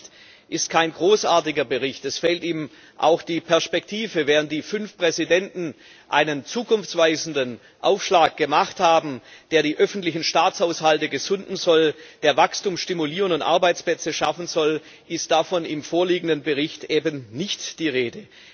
Der Bericht ist kein großartiger Bericht, es fehlt ihm auch die Perspektive. Während die fünf Präsidenten einen zukunftsweisenden Aufschlag gemacht haben, der die öffentlichen Staatshaushalte sanieren soll, der Wachstum stimulieren und Arbeitsplätze schaffen soll, ist davon im vorliegenden Bericht eben nicht die Rede.